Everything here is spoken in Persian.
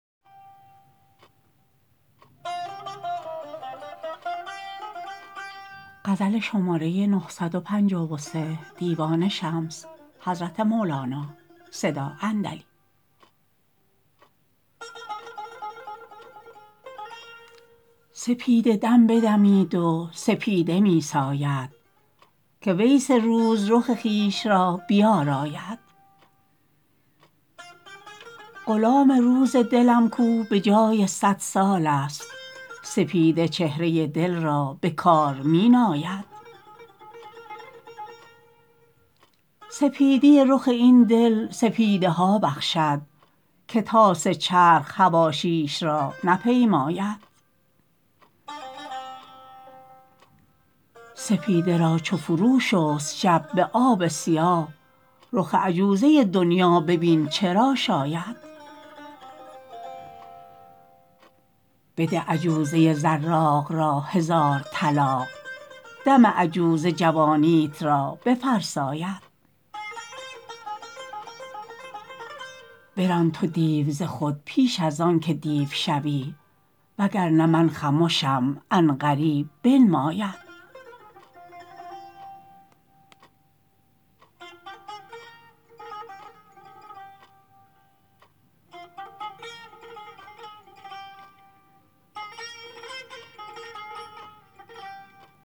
سپیده دم بدمید و سپیده می ساید که ویس روز رخ خویش را بیاراید غلام روز دلم کو به جای صد سالست سپیده چهره دل را به کار می ناید سپیدی رخ این دل سپیدها بخشد که طاس چرخ حواشیش را نپیماید سپیده را چو فروشست شب به آب سیاه رخ عجوزه دنیا ببین چه را شاید بده عجوزه زراق را هزار طلاق دم عجوزه جوانیت را بفرساید بران تو دیو ز خود پیش از آنک دیو شوی وگر نه من خمشم عن قریب بنماید